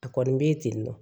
A kɔni bɛ yen ten nɔ